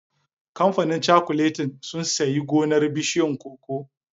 Kamfanin cakuletin sun sayi gonar bishiyun cocoa